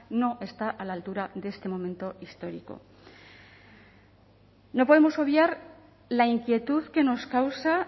no está a la altura de este momento histórico no podemos obviar la inquietud que nos causa